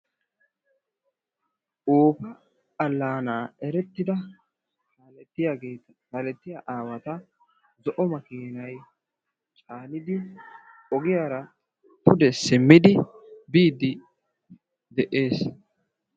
Oofa allaanaa erettida kaalettiyaa aawata zo'o makiinay caanidi ogiyaara pude simmidi biiddi de'ees.